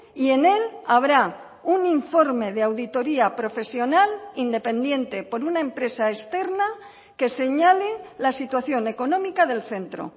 y en él habrá un informe de auditoría profesional independiente por una empresa externa que señale la situación económica del centro